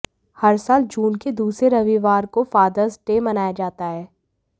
हर साल जून के दूसरे रविवार को फादर्स डे मनाया जाता है